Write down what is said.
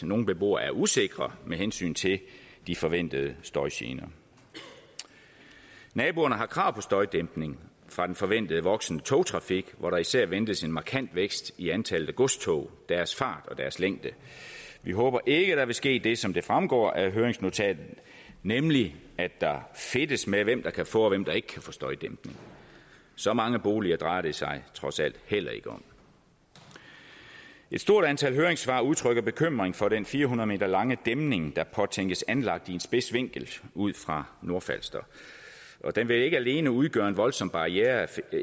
nogle beboere er usikre med hensyn til de forventede støjgener naboerne har krav på støjdæmpning fra den forventede voksende togtrafik hvor der især ventes en markant vækst i antallet af godstog deres fart og deres længde vi håber ikke der vil ske det som fremgår af høringsnotatet nemlig at der fedtes med hvem der kan få og hvem der ikke kan få støjdæmpning så mange boliger drejer det sig trods alt heller ikke om et stort antal høringssvar udtrykker bekymring for den fire hundrede m lange dæmning der påtænkes anlagt i en spids vinkel ud fra nordfalster og den vil ikke alene udgøre en voldsom barriereeffekt